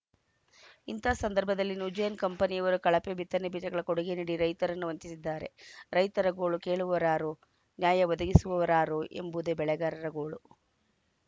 ಇಂಥ ಸಂದರ್ಭದಲ್ಲಿ ನ್ಯೂಜೆನ್‌ ಕಂಪನಿಯವರು ಕಳಪೆ ಬಿತ್ತನೆ ಬೀಜಗಳ ಕೊಡುಗೆ ನೀಡಿ ರೈತರನ್ನು ವಂಚಿಸಿದ್ದಾರೆ ರೈತರ ಗೋಳು ಕೇಳುವವರಾರು ನ್ಯಾಯ ಒದಗಿಸುವವರಾರು ಎಂಬುದೇ ಬೆಳೆಗಾರರ ಗೋಳು